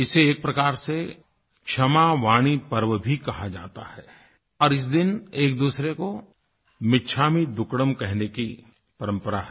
इसे एक प्रकार से क्षमावाणी पर्व भी कहा जाता है और इस दिन एक दूसरे को मिच्छामि दुक्कड़म कहने की परंपरा है